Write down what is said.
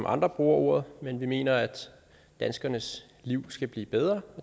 andre bruger ordet men vi mener at danskernes liv skal blive bedre